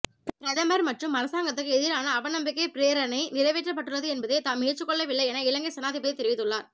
பிரதமர் மற்றும் அரசாங்கத்துக்கு எதிரான அவநம்பிக்கை பிரேரணை நிறைவேற்றப்பட்டுள்ளது என்பதை தாம் ஏற்றுக்கொள்ளவில்லை என்று இலங்கை சனாதிபதி தெரிவித்துள்ளார்